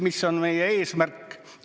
Mis on meie eesmärk?